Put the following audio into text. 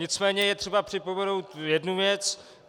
Nicméně je třeba připomenout jednu věc.